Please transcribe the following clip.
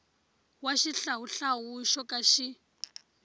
wa xihlawuhlawu xo ka xi